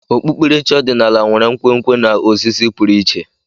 Okpukpere chi ọdịnala nwere nkwenkwe na ozizi pụrụ iche.